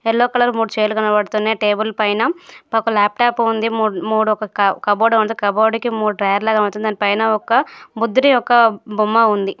Yellow colour లో మూడు chair లు కనబడుతున్నాయి.టేబుల్ పై ఒక లాప్టాప్ ఉంది. మూడు ఒక కప్బోర్డ్ ఉంది.కబోర్డ్ కి మూడు డ్రాయర్ లాగా కనబడుతున్నాయి. దానిపైన ఒక ముద్రి ఒక బొమ్మ ఉంది.